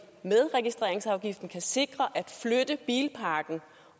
med registreringsafgiften kan sikre at flytte bilparken